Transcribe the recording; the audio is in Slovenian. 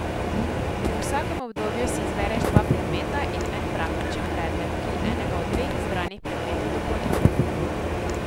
V vsakem obdobju si izbereš dva predmeta in en praktičen predmet, ki enega od dveh izbranih predmetov dopolnjuje.